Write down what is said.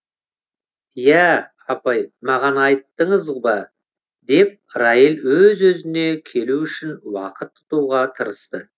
иә апай маған айттыңыз ба деп райл өз өзіне келу үшін уақыт ұтуға тырысты